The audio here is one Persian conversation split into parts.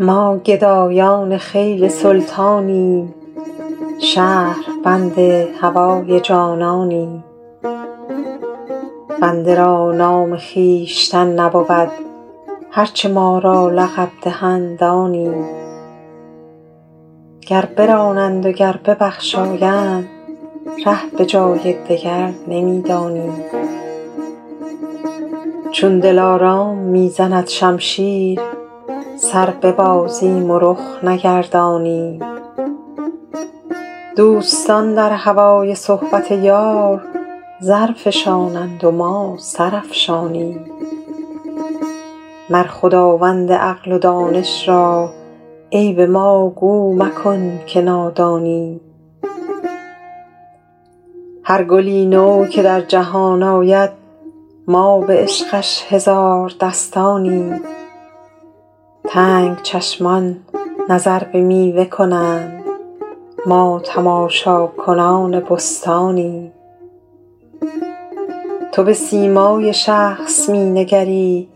ما گدایان خیل سلطانیم شهربند هوای جانانیم بنده را نام خویشتن نبود هر چه ما را لقب دهند آنیم گر برانند و گر ببخشایند ره به جای دگر نمی دانیم چون دلارام می زند شمشیر سر ببازیم و رخ نگردانیم دوستان در هوای صحبت یار زر فشانند و ما سر افشانیم مر خداوند عقل و دانش را عیب ما گو مکن که نادانیم هر گلی نو که در جهان آید ما به عشقش هزار دستانیم تنگ چشمان نظر به میوه کنند ما تماشاکنان بستانیم تو به سیمای شخص می نگری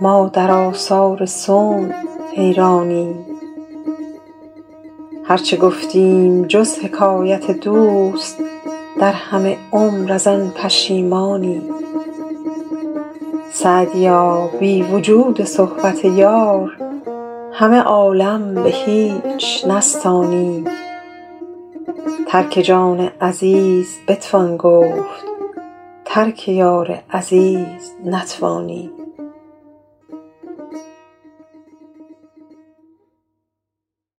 ما در آثار صنع حیرانیم هر چه گفتیم جز حکایت دوست در همه عمر از آن پشیمانیم سعدیا بی وجود صحبت یار همه عالم به هیچ نستانیم ترک جان عزیز بتوان گفت ترک یار عزیز نتوانیم